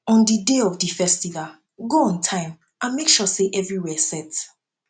on di day of di festival go on time and make sure say everywhere set